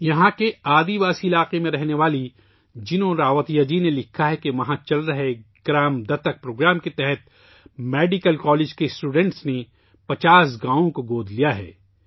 یہاں کے قبائلی علاقے میں رہنے والی جینو راوتیہ جی نے لکھا ہے کہ وہاں چل رہے گاؤں گود لینے کے پروگرام کے تحت میڈیکل کالج کے طلباء نے 50 گاؤں گود لئے ہیں